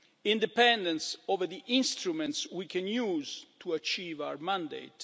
independence over the instruments we can use to achieve our mandate